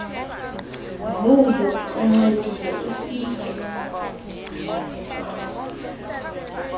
vuyo uncedile ufike